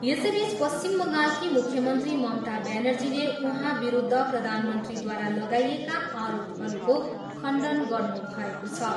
यसैबिच पश्चिम बङ्गालकी मुख्यमन्त्री ममता ब्यानर्जीले उहाँविरुद्ध प्रधानमन्त्रीद्वारा लागाइएका आरोपहरूको खण्डन गर्नुभएको छ।